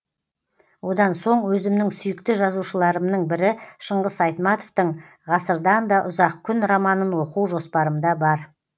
одан соң өзімнің сүйікті жазушыларымның бірі шыңғыс айтматовтың ғасырдан да ұзақ күн романын оқу жоспарымда бар